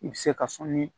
I bɛ se ka sɔnni